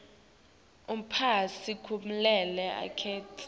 umphatsi kumele anikete